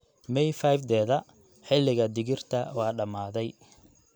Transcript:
May 5-deeda, xilliga digirta waa dhammaaday.